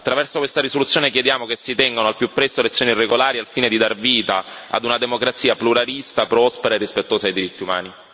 Attraverso questa risoluzione, chiediamo che si tengano al più presto elezioni regolari, al fine di dar vita ad una democrazia pluralista, prospera e rispettosa dei diritti umani.